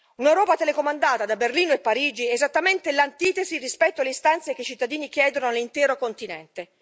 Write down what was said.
un'Europa telecomandata da Berlino e Parigi è esattamente l'antitesi rispetto alle istanze che i cittadini chiedono all'intero continente.